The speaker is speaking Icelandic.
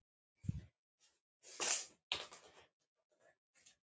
Í felum?